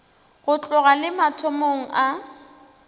go tloga le mathomong a